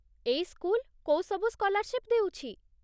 ଏଇ ସ୍କୁଲ କୋଉ ସବୁ ସ୍କଲାର୍ଶିପ୍ ଦେଉଛି?